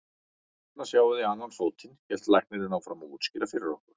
Þarna sjáið þið annan fótinn, hélt læknirinn áfram að útskýra fyrir okkur.